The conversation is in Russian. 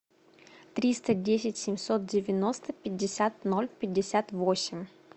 триста десять семьсот девяносто пятьдесят ноль пятьдесят восемь